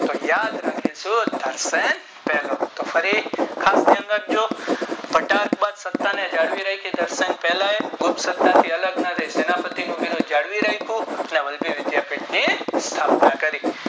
તો યાદ રાખીશું સુરાતાપાન પહેલો તો ફરી ઘાટ ની અંદર ઘટાક્ષ ની સત્તા જાળવી રાખી ઘર્ષણ પહેલાંયે સત્તા થી આલગ ન રાખું સેનાએ પતિ નું બિરુદ જાળવી રાખું જ્યાં વલ્લભી વિધાપીઠ ની સ્થાપના કરી